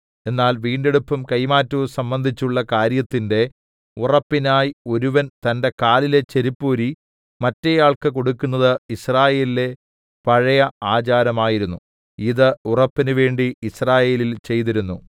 എന്നാൽ വീണ്ടെടുപ്പും കൈമാറ്റവും സംബന്ധിച്ചുള്ള കാര്യത്തിന്റെ ഉറപ്പിനായി ഒരുവൻ തന്റെ കാലിലെ ചെരിപ്പൂരി മറ്റേയാൾക്ക് കൊടുക്കുന്നത് യിസ്രായേലിലെ പഴയ ആചാരം ആയിരുന്നു ഇത് ഉറപ്പിനു വേണ്ടി യിസ്രായേലിൽ ചെയ്തിരുന്നു